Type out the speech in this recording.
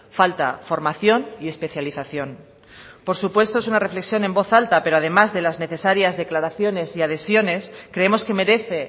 falta formación y especialización por supuesto es una reflexión en voz alta pero además de las necesarias declaraciones y adhesiones creemos que merece